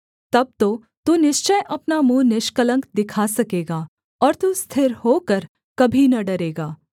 तब तो तू निश्चय अपना मुँह निष्कलंक दिखा सकेगा और तू स्थिर होकर कभी न डरेगा